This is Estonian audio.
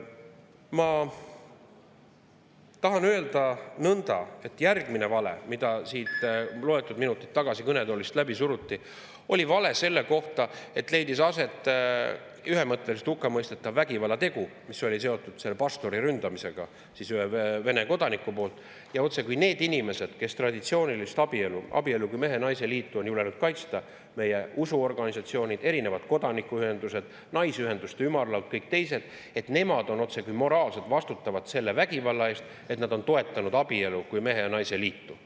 Ma tahan öelda nõnda, et järgmine vale, mida loetud minutid tagasi siit kõnetoolist läbi suruti, oli vale selle kohta, et leidis aset ühemõtteliselt hukkamõistetav vägivallategu, mis oli seotud pastori ründamisega ühe Vene kodaniku poolt, ja otsekui need inimesed, kes traditsioonilist abielu, abielu kui mehe naise liitu on julgenud kaitsta, meie usuorganisatsioonid, erinevad kodanikuühendused, naisteühenduste ümarlaud, kõik teised, on otsekui moraalselt vastutavad selle vägivalla eest, kuna nad on toetanud abielu kui mehe ja naise liitu.